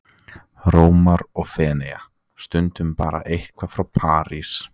Rómar eða Feneyja, stundum bara eitthvað frá París.